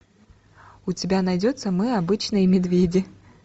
у тебя найдется мы обычные медведи